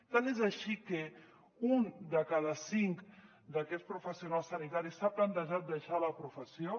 tant és així que un de cada cinc d’aquests professionals sanitaris s’ha plantejat deixar la professió